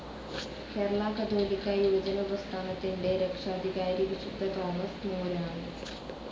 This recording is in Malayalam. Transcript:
കേരള കത്തോലിക്കാ യുവജന പ്രസ്ഥാനത്തിൻ്റെ രക്ഷാധികാരി വിശുദ്ധ തോമസ് മൂരാണൂ.